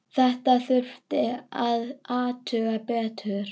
Þetta þurfti að athuga betur.